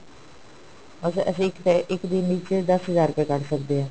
ਅਸੀਂ ਅਸੀਂ ਇੱਕ ਦਿਨ ਵਿੱਚ ਦਸ ਹਜ਼ਾਰ ਰੁਪਏ ਕੱਢ ਸਕਦੇ ਹਾਂ